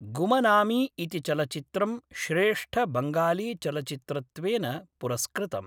गुमनामी इति चलचित्रं श्रेष्ठ बंगालीचलचित्रत्वेन पुरस्कृतम्।